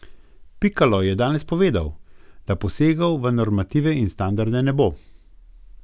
Pikalo je danes povedal, da posegov v normative in standarde ne bo.